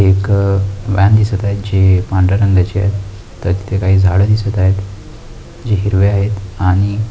एक अ व्हॅन दिसत आहे जी पांढर्‍या रंगाची आहे तर ते काही झाडं दिसत आहेत. जी हिरवी आहेत आणि--